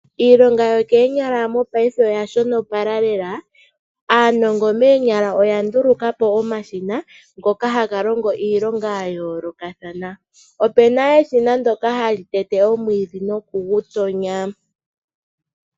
Iilonga yokoonyala mopaife oya shonopala lela. Aanongo moonyala oya nduluka po omashina ngoka haga longo iilonga ya yoolokathana. opu na eshina ndyoka hali tete omwiidhi noku gu tonya.